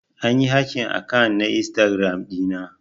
An yi hacking akant na Instagram dina.